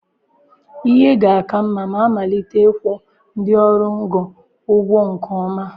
Ihe ga-aka mma ma amalite ịkwụ ndị ọrụ ngo ụgwọ nke ọma.